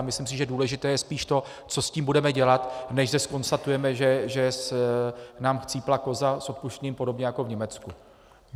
A myslím si, že důležité je spíš to, co s tím budeme dělat, než že zkonstatujeme, že nám chcípla koza, s odpuštěním, podobně jako v Německu.